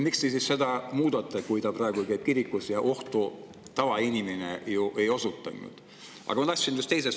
Miks te siis seda muudate, kui tavainimene, kes käib kirikus, endast mingit ohtu ei?